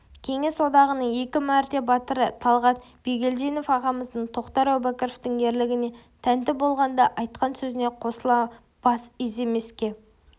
кеңес одағының екі мәрте батыры талғат бигелдинов ағамыздың тоқтар әубәкіровтің ерлігіне тәнті болғанда айтқан сөзіне қосыла бас иземеске